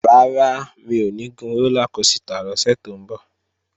Rárá, mi ò ní gun rólá kosità lọ́sẹ̀ tó ń bọ̀